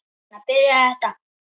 Svona byrjaði þetta.